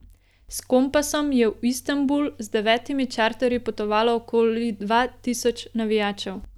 S Kompasom je v Istanbul z devetimi čarterji potovalo okoli dva tisoč navijačev.